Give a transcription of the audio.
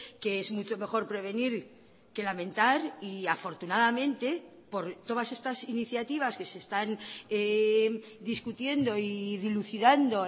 que es mucho mejor prevenir que lamentar y afortunadamente por todas estas iniciativas que se están discutiendo y dilucidando